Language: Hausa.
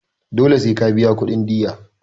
Dole sai ka biya kudin diyya.